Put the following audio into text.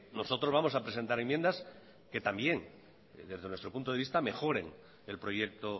nosotros vamos a presentar enmiendas que también desde nuestro punto de vista mejoren el proyecto